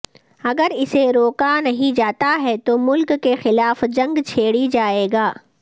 اگر اسے روکا نہیں جاتا ہے تو ملک کے خلاف جنگ چھیڑی جائے گا